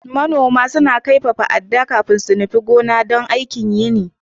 Manoma suna kaifafa adda kafin su nufi gona don aikin yini.